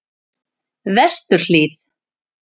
Vesturhlíð